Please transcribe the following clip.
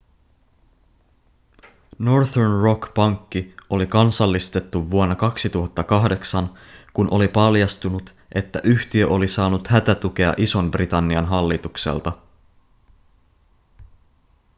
northern rock pankki oli kansallistettu vuonna 2008 kun oli paljastunut että yhtiö oli saanut hätätukea ison-britannian hallitukselta